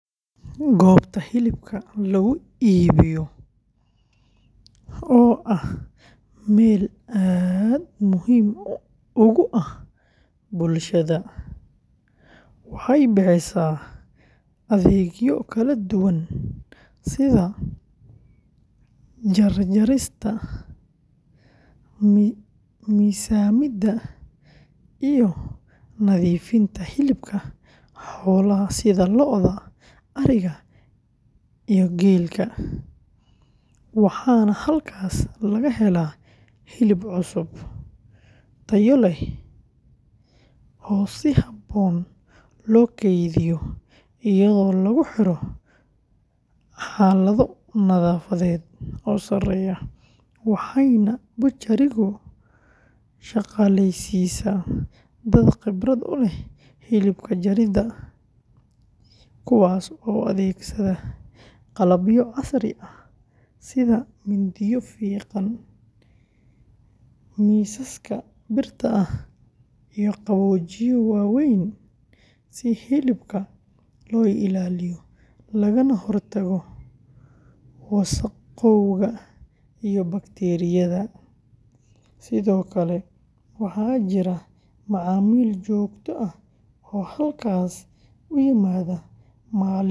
Goobta hilibka lagu iibiyo, oo ah meel aad muhiim ugu ah bulshada, waxay bixisaa adeegyo kala duwan sida jarista, miisaamida, iyo nadiifinta hilibka xoolaha sida lo’da, ariga, iyo geela, waxaana halkaas laga helaa hilib cusub, tayo leh, oo si habboon loo kaydiyo iyadoo lagu jiro xaalado nadaafadeed oo sareeya, waxayna butchery-gu shaqaaleysiisaa dad khibrad u leh hilib jaridda, kuwaas oo adeegsada qalabyo casri ah sida mindiyo fiiqan, miisaska birta ah, iyo qaboojiye waaweyn, si hilibka loo ilaaliyo lagana hortago wasakhowga iyo bakteeriyada, sidoo kale, waxaa jira macaamiil joogto ah oo halkaas u yimaada maalin kasta.